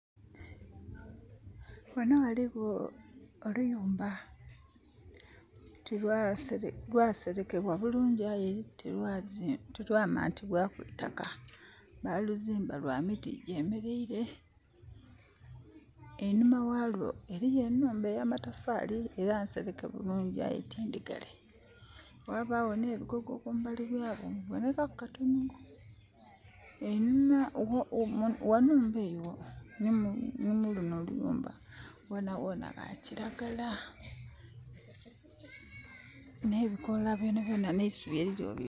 Ghanho ghaligho oluyumba lwaserekebwa bulungi aye tilwamantibwaku itaka baluzimba lwa miti gyemereire. Einhuma ghalwo eriyo enhumba eya matafari era nsereke bulungi aye ti ndhigale. Ghabagho nhe bigogo kumbali ghayo bibonekaku katonho. Ghanhumba eyo nho luyumba lunho ghona ghona gha kilagala.